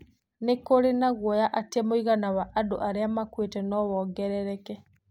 Nĩ kũrĩ na guoya atĩ mũigana wa andũ arĩa makuĩte no wongerereke.